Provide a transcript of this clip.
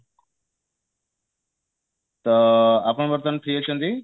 ଅ ଆପଣ ବର୍ତମାନ free ଅଛନ୍ତି?